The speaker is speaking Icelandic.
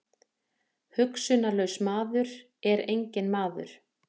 Hugsunarlaus maður er enginn maður.